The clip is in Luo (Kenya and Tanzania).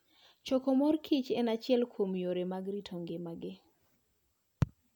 Choko mor kich en achiel kuom yore mag rito kit ngimagi.